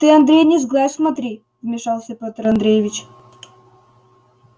ты андрей не сглазь смотри вмешался петр андреевич